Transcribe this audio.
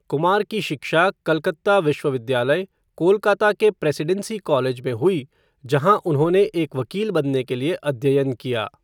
कुमार की शिक्षा कलकत्ता विश्वविद्यालय, कोलकाता के प्रेसीडेंसी कॉलेज में हुई, जहाँ उन्होंने एक वकील बनने के लिए अध्ययन किया।